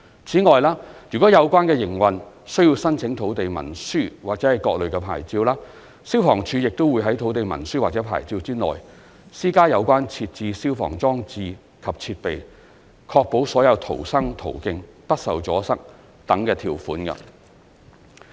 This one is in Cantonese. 此外，如有關營運需要申請土地文書或各類牌照，消防處亦會於土地文書或牌照內，施加有關設置消防裝置及設備、確保所有逃生途徑不受阻塞等條件。